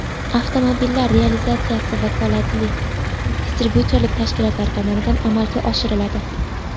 Avtomobillar realizatsiyasi vakolatli distribyutorlik tashkilotlari tomonidan amalga oshiriladi”.